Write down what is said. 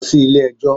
Lọ sí ilé ẹjọ́.